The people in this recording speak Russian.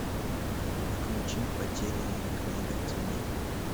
включи потерянные книга теней